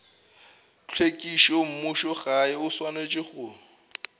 tlhwekišo mmušogae o swanetše go